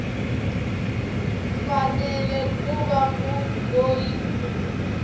fanele ku va munhu loyi